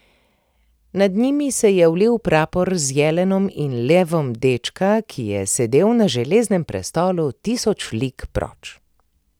Nad njimi se je vil prapor z jelenom in levom dečka, ki je sedel na Železnem prestolu tisoč lig proč.